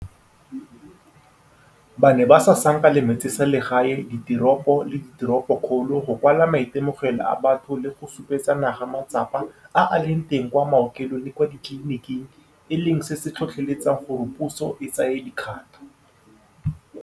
Ba ne ba sasanka le metseselegae, diteropo le diteropokgolo, go kwala maitemogelo a batho le go supetsa naga matsapa a a leng teng kwa maokelong le kwa ditleliniking, e leng seo se tlhotlheletsang gore puso e tsaye dikgato.